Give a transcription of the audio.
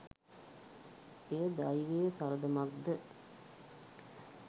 එය දෛවයේ සරදමක් ද